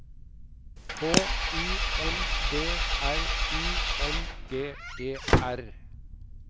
H I N D R I N G E R